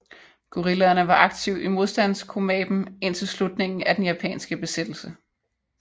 Guerillaerne var aktiv i modstandskomapen indtil slutningen af den japanske besættelse